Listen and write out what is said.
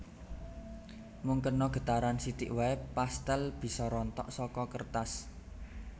Mung kena getaran sithik waé pastèl bisa rontok saka kertas